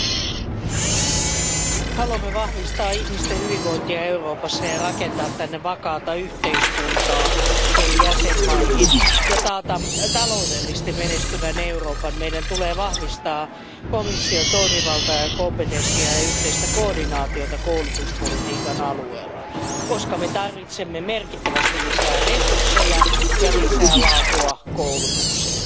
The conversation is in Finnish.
Arvoisa puhemies, jos haluamme vahvistaa ihmisten hyvinvointia Euroopassa, rakentaa vakaata yhteiskuntaa eri jäsenmaihin ja taata taloudellisesti menestyvän Euroopan, meidän tulee vahvistaa komission toimivaltaa ja kompetenssia ja yhteistä koordinaatiota koulutuspolitiikan alueella, koska tarvitsemme merkittävästi lisää resursseja ja lisää laatua koulutukseen.